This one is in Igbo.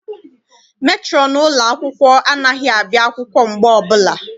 Metrọn ụlọ akwụkwọ anaghị abịa akwụkwọ mgbe ọbụla.